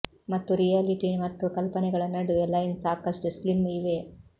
ಮತ್ತು ರಿಯಾಲಿಟಿ ಮತ್ತು ಕಲ್ಪನೆಗಳ ನಡುವೆ ಲೈನ್ ಸಾಕಷ್ಟು ಸ್ಲಿಮ್ ಇವೆ